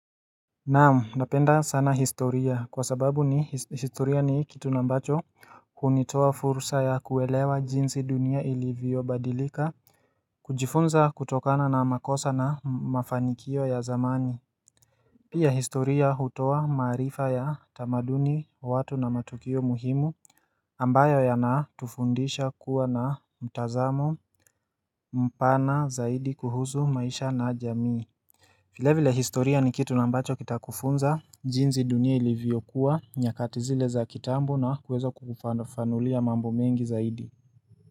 Naamu napenda sana historia kwa sababu ni historia ni kitu na ambacho hunitoa fursa ya kuelewa jinsi dunia ilivyo badilika kujifunza kutokana na makosa na mafanikio ya zamani pia historia hutoa maarifa ya tamaduni watu na matukio muhimu ambayo ya na tufundisha kuwa na mtazamo mpana zaidi kuhusu maisha na jamii vilevile historia ni kitu na ambacho kita kufunza jinzi dunia iliviyokuwa nyakatizile za kitambo na kuweza kukufafanulia mambo mengi zaidi.